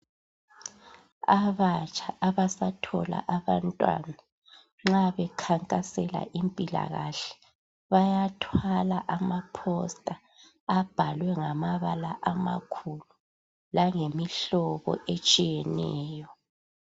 Abatsha abasathola abantwana nxa bekhankasela impilakahle bayathwala amaposita ayabe ebhalwe ngamabala amakhulu langemibala etshiyeneyo.